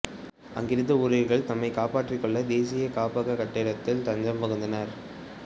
அங்கிருந்த ஊழியர்கள் தம்மைக் காப்பாற்றிக்கொள்ள தேசிய காப்பக கட்டிடத்தில் தஞ்சம் புகுந்தனர்